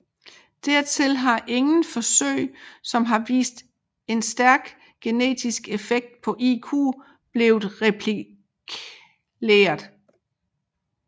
Dertil har ingen forsøg som har vist en stærk genetisk effekt på IQ blevet replikleret